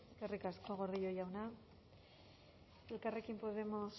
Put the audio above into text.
eskerrik asko gordillo jauna elkarrekin podemos